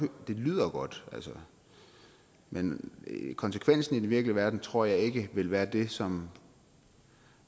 det lyder godt men konsekvensen i den virkelige verden tror jeg ikke vil være det som